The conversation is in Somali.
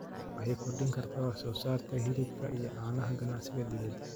Kenya waxay kordhin kartaa wax soo saarka hilibka iyo caanaha ganacsiga dibadda.